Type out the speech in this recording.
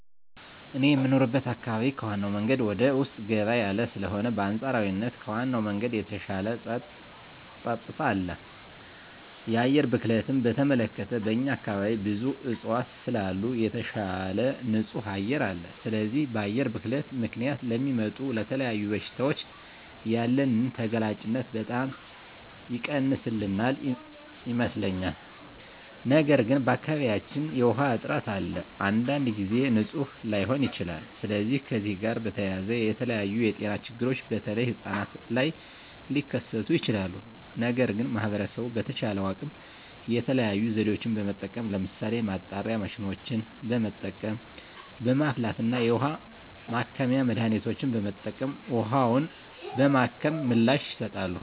እኔ የምኖርበት አካባቢ ከዋናው መንገድ ወደ ውስጥ ገባ ያለ ስለሆነ በአንፃራዊነት ከዋናው መንገድ የተሻለ ፀጥታ አለ። የአየር ብክለትን በተመለከተ በእኛ አካባቢ ብዙ እፅዋት ስላሉ የተሻለ ንፁህ አየር አለ። ስለዚህ በአየር ብክለት ምክንያት ለሚመጡ ለተለያዩ በሽታዎች ያለንን ተጋላጭነት በጣም የቀነሰልን ይመስለኛል። ነገር ግን በአካባቢያችን የዉሃ እጥረት አለ። አንዳንድ ጊዜም ንፁህ ላይሆን ይችላል። ስለዚህ ከዚህ ጋር በተያያዘ የተለያዩ የጤና ችግሮች በተለይ ህጻናት ላይ ሊከስቱ ይችላሉ። ነገር ግን ማህበረሰቡ በተቻለው አቅም የተለያዩ ዘዴዎችን በመጠቀም ለምሳሌ ማጣሪያ ማሽኖችን በመጠቀም፣ በማፍላት እና የውሀ ማከሚያ መድሀኒቶችን በመጠቀም ውሀውን በማከም ምላሽ ይሰጣሉ።